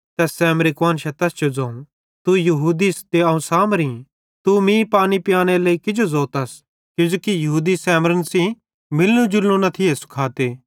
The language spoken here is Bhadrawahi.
तैस सैमरी कुआन्शां तैस जो ज़ोवं तू यहूदिस ते अवं त सामरी तू मीं पानी पीयानेरे लेइ किजो ज़ोतस किजोकि यहूदी सैमरन सेइं मिलनू जुलनु न थिये सुखाते